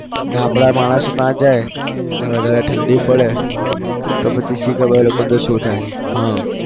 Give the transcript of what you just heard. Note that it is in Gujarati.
નાં આપણા માણસો ત્યાં જાય અને વધારે ઠંડી પડે તો પછી શું ખબર એ લોકોનું તો શું થાય? હા